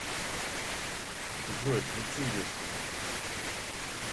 джой включи естэдим